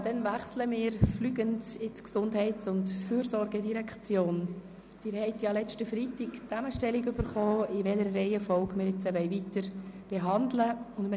Sie haben am vergangenen Freitag die Zusammenstellung erhalten, die aufzeigt, in welcher Reihenfolge wir weiter vorgehen wollen.